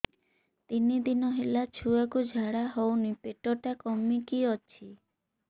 ତିନି ଦିନ ହେଲା ଛୁଆକୁ ଝାଡ଼ା ହଉନି ପେଟ ଟା କିମି କି ଅଛି